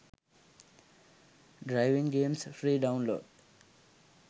driving games free download